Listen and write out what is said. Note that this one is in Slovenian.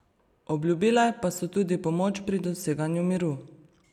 Obljubile pa so tudi pomoč pri doseganju miru.